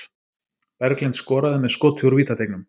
Berglind skoraði með skoti úr vítateignum